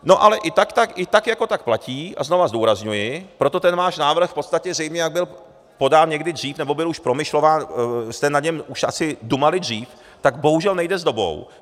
No ale i tak jako tak platí, a znova zdůrazňuji, proto ten váš návrh v podstatě zřejmě, jak byl podán někdy dřív, nebo byl už promyšlován, jste na něm už asi dumali dřív, tak bohužel nejde s dobou.